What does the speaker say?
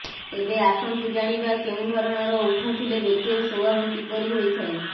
ତେବେ ଆସନ୍ତୁ ଜାଣିବା କେଉଁ ଧରଣର ଓଠ ଥିଲେ ବ୍ୟକ୍ତିର ସ୍ୱଭାବ କିପରି ହୋଇଥାଏ